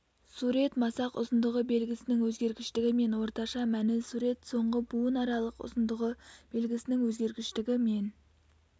сурет масақ ұзындығы белгісінің өзгергіштігі мен орташа мәні сурет соңғы буынаралық ұзындығы белгісінің өзгергіштігі мен